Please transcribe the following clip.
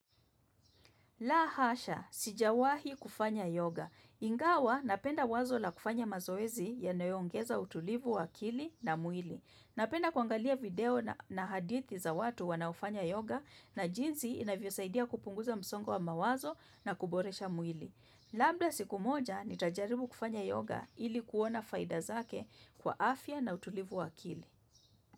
Lahasha, sijawahi kufanya yoga. Ingawa napenda wazo la kufanya mazoezi yanayo ongeza utulivu wa akili na mwili. Napenda kuangalia video na hadithi za watu wanaofanya yoga na jinsi inavyo saidia kupunguza msongo wa mawazo na kuboresha mwili. Labda siku moja nitajaribu kufanya yoga ili kuona faida zake kwa afya na utulivu wa akili.